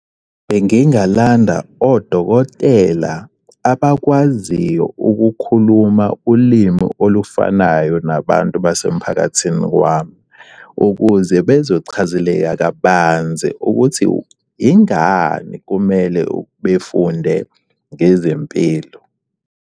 Bengingalanda odokotela abakwaziyo ukukhuluma ulimi olufanayo nabantu basemphakathini wami, ukuze bezochazeleka kabanzi ukuthi ingani kumele befunde ngezempilo.